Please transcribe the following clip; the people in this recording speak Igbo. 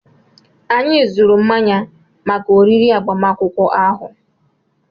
Anyị zụrụ mmanya maka oriri agbamakwụkwọ ahụ.